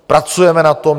Pracujeme na tom.